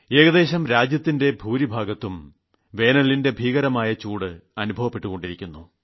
ഏകദേശം രാജ്യത്തിന്റെ ഭൂരിഭാഗം പ്രദേശങ്ങളിലും വേനലിന്റെ ഭീകരമായ ചൂട് അനുഭവപ്പെട്ടുകൊണ്ടിരിക്കുന്നു